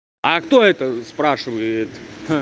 а кто это спрашивает